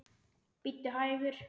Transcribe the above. Bíddu hægur.